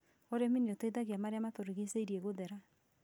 Ũrĩmi nĩ ũteithagia marĩa matũrigicĩirie gũthera